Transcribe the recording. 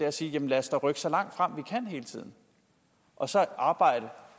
at sige at lad os da rykke så langt frem vi kan hele tiden og så arbejde